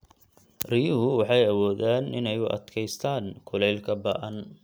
Riyuhu waxay awoodaan inay u adkeystaan ??kulaylka ba'an.